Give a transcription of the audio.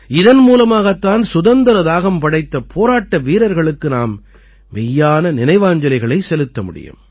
இதன் மூலமாகத் தான் சுதந்திர தாகம் படைத்த போராட்ட வீரர்களுக்கு நாம் மெய்யான நினைவாஞ்சலிகளைச் செலுத்த முடியும்